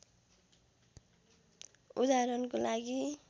उदाहरणको लागि